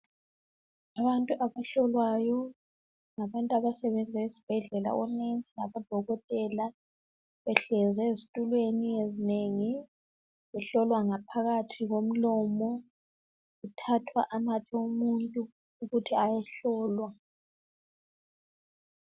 abantu abahlolwayo ngabantu abasebenza esibhedlela o nurse labodokotela behlezi ezitulweni ezinengi behlolwa ngaphakathi komlomo kuthathwa amathe omuntu ukuthi ayehlolwa